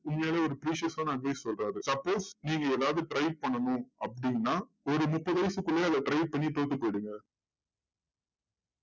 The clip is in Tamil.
உண்மையிலேயே ஒரு precious ஆன advice சொல்றாரு suppose நீங்க ஏதாவது try பண்ணணும் அப்படின்னா, ஒரு முப்பது வயசுக்குள்ள அதை try பண்ணி தோத்துப் போயிடுங்க.